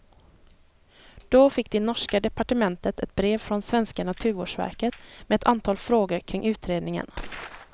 Då fick det norska departementet ett brev från svenska naturvårdsverket med ett antal frågor kring utredningen.